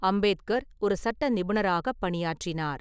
அம்பேத்கர் ஒரு சட்ட நிபுணராகப் பணியாற்றினார்.